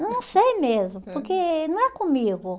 Não sei mesmo, porque não é comigo.